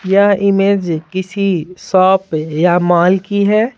यह इमेज किसी शॉप या मॉल की है।